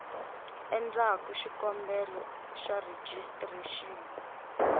a endlaku xikombelo xa rejistrexini